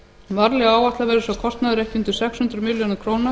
varlega áætlað verður sá kostnaður ekki undir sex hundruð milljörðum króna